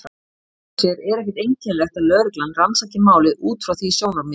En í sjálfu sér er ekkert einkennilegt að lögreglan rannsaki málið út frá því sjónarmiði.